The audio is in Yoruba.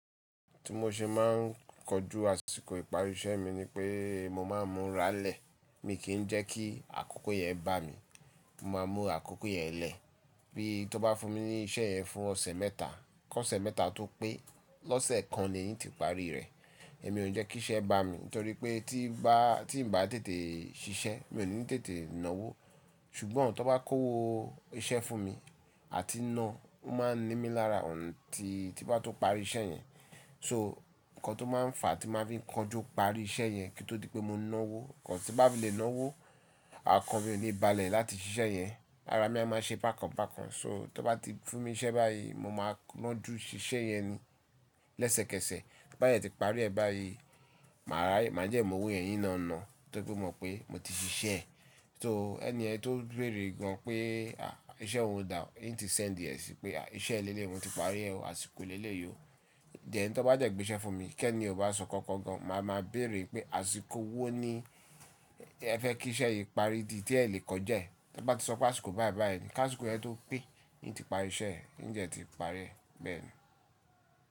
Tí mo ṣe máa ń kojú àsìkò ìparí iṣẹ́ mi ni pé mo máa ń múra lẹ̀. Mi kìn jẹ́ kí àkókò yẹn bà mí. Mo máa múra àkókò yẹn lẹ. Bí, tó bá fún mi ní iṣẹ́ yẹn fún ọ̀sẹ̀ mẹ́ta, kọ́ ọ̀sẹ̀ mẹ́ta tó pé, lọ́sẹ̀ kan ni yín ti parí rẹ̀. Èmi ò ní jẹ́ kí iṣẹ́ bà mí torí pé tí bá, tí n bá tètè ṣiṣẹ́ mi ò ní tètè náwó. Ṣùgbọ́n tó bá kó owó iṣẹ́ fún mi àti ná, ó máa ń ni mí lára until, tí bá tó parí iṣẹ́ yẹn. So, nǹkan tó máa ń fà tí màá fi konji parí iṣẹ́ yẹn kí ó tó di pé mo náwó, nǹkan tí bá lè náwó, àkànbi mi ò ní balẹ̀ láti ṣiṣẹ́ yẹn. Ará, mi a máa ṣe bákan bákan. So tó bá ti fún mi iṣẹ́ báyìí, mo máa lọ jú ṣiṣẹ́ yẹn ni, lẹ́sẹ̀kẹsẹ̀. Bá de ti parí ẹ báyìí, màá ráyè, màá de mo wo yen min lo ná tóripé mo mọ̀ pé mo ti ṣiṣẹ́. So ẹni ẹni tó béèrè gan pé à iṣẹ́ ohun dà? Hín ti sẹ́ńdì ẹ síi pé à iṣẹ́ ẹ lẹ́lẹ́ yi mo ti parí ẹ́ o, àsìkò ẹ lẹ́lẹ́ yi o. Then tón bá de gbé iṣẹ́ fún mi kẹ́ niyen ó bá sọ nkankan gan, màá máa béèrè pé àsìkò wo ní ẹ fẹ́ kí iṣẹ́ yìí parí dí tí ẹ lè kọjá ẹ́? Tí mo bá ti sọ pé àsìkò báyì báyì ni, kásìkò yẹn tó pé mo ti parí iṣẹ́ yẹn n dẹ̀ ti parí ẹ, bẹ́ẹ̀ni.